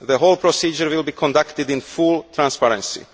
the whole procedure will be conducted in full transparency.